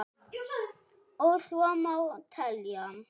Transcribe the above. Og svo má telja.